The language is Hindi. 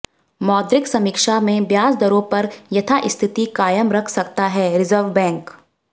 मौद्रिक समीक्षा में ब्याज दरों पर यथास्थिति कायम रख सकता है रिजर्व बैंक